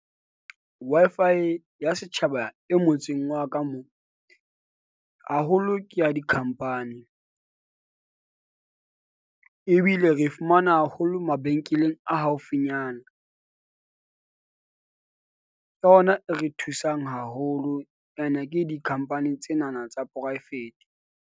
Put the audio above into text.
Wi-Fi ya setjhaba e motseng wa ka moo haholo ke ya di-company. Ebile re fumana haholo mabenkeleng a haufinyana. Ke yona e re thusang haholo. Ene ke di-company tsena na tsa poraefete.